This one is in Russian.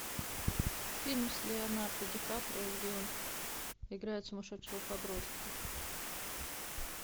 фильм с леонардо ди каприо где он играет сумасшедшего подростка